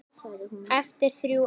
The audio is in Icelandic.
Eftir þrjú ár.